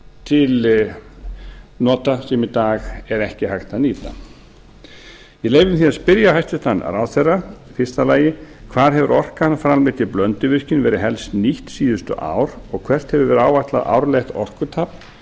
til nota sem í dag er ekki hægt að nýta ég leyfi mér því að spyrja hæstvirtan ráðherra fyrstu hvar hefur orka framleidd í blönduvirkjun helst verið nýtt síðustu ár og hvert hefur áætlað árlegt orkutap verið